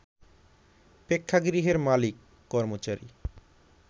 প্রেক্ষাগৃহের মালিক, কর্মচারী